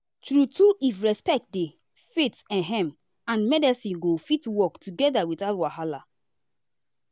true true if respect dey faith ehm and medicine go fit work together without wahala.